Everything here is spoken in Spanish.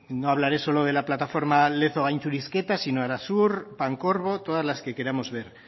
no hablaré solo de la plataforma lezo gaintxurizketa sino arasur pancorbo todas las que queramos ver